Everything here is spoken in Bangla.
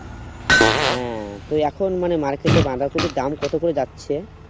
হ্যাঁ তো এখন মানে market এ বাঁধাকপির দাম কত করে যাচ্ছে